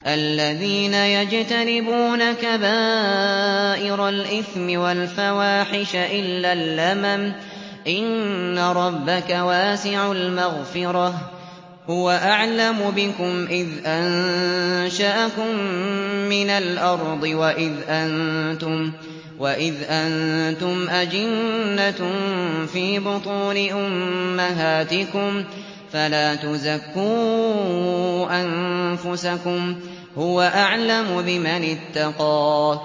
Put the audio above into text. الَّذِينَ يَجْتَنِبُونَ كَبَائِرَ الْإِثْمِ وَالْفَوَاحِشَ إِلَّا اللَّمَمَ ۚ إِنَّ رَبَّكَ وَاسِعُ الْمَغْفِرَةِ ۚ هُوَ أَعْلَمُ بِكُمْ إِذْ أَنشَأَكُم مِّنَ الْأَرْضِ وَإِذْ أَنتُمْ أَجِنَّةٌ فِي بُطُونِ أُمَّهَاتِكُمْ ۖ فَلَا تُزَكُّوا أَنفُسَكُمْ ۖ هُوَ أَعْلَمُ بِمَنِ اتَّقَىٰ